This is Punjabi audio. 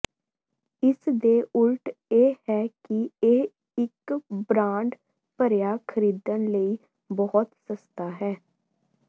ਇਸ ਦੇ ਉਲਟ ਇਹ ਹੈ ਕਿ ਇਹ ਇੱਕ ਬ੍ਰਾਂਡ ਭਰਿਆ ਖਰੀਦਣ ਲਈ ਬਹੁਤ ਸਸਤਾ ਹੈ